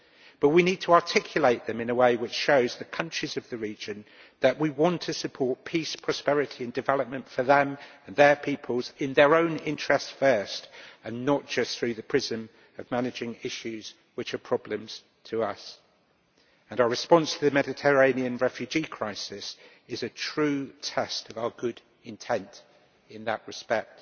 But we need to articulate them in a way which shows the countries of the region that we want to support peace, prosperity and development for them and their peoples, in their own interest first and not just through the prism of managing issues which are problems to us. Our response to the Mediterranean refugee crisis is a true test of our good intent in that respect.